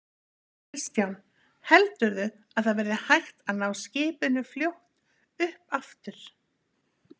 Kristján: Heldurðu að það verði hægt að ná skipinu fljótt upp aftur?